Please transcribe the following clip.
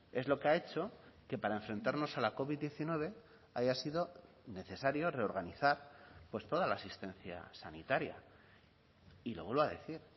es lo que ha hecho que para enfrentarnos a la covid diecinueve haya sido necesario reorganizar pues toda la asistencia sanitaria y lo vuelvo a decir